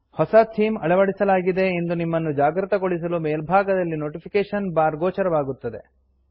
ಹೊಸ ಥೀಮ್ ಅಳವಡಿಸಲಾಗಿದೆ ಎಂದು ನಿಮ್ಮನ್ನು ಜಾಗೃತಗೊಳಿಸಲು ಮೇಲ್ಭಾಗದಲ್ಲಿ ನೋಟಿಫಿಕೇಷನ್ ಬಾರ್ ಗೋಚರವಾಗುತ್ತದೆ